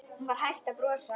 Hún var hætt að brosa.